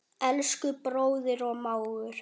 Elsku bróðir og mágur.